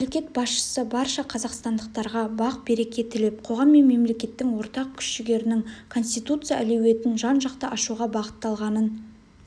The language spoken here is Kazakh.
мемлекет басшысы барша қазақстандықтарға бақ-береке тілеп қоғам мен мемлекеттің ортақ күш-жігерінің конституция әлеуетін жан-жақты ашуға бағытталғанын